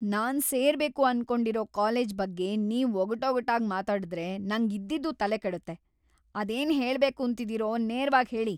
ನಾನ್‌ ಸೇರ್ಬೇಕು ಅನ್ಕೊಂಡಿರೋ ಕಾಲೇಜ್‌ ಬಗ್ಗೆ ನೀವ್‌ ಒಗಟೊಗಟಾಗ್‌ ಮಾತಾಡುದ್ರೆ ನಂಗ್‌ ಇದ್ದಿದ್ದೂ ತಲೆ ಕೆಡುತ್ತೆ. ಅದೇನ್‌ ಹೇಳ್ಬೇಕೂಂತಿದಿರೋ ನೇರ್ವಾಗ್‌ ಹೇಳಿ.